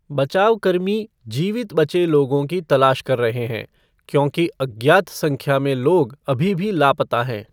बचावकर्मी जीवित बचे लोगों की तलाश कर रहे हैं, क्योंकि अज्ञात संख्या में लोग अभी भी लापता हैं।